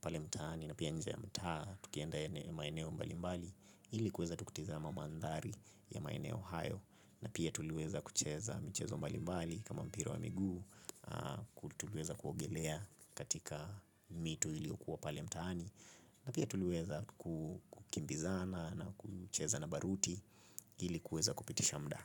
pale mtaani, na pia nje ya mtaa, tukienda maeneo mbali mbali, ili kuweza tu kutizama mandhari ya maeneo hayo, na pia tuliweza kucheza michezo mbali mbali, kama mpira wa miguu, kutuluweza kuogelea katika mito ili okuwa pali mtaani na pia tuluweza kukimbizana na kucheza na baruti ili kueza kupitisha mda.